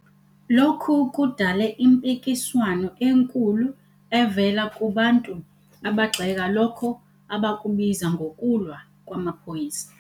Lokhu kudale impikiswano enkulu evela kubantu abagxeka lokho abakubiza "ngokulwa" kwamaphoyisa.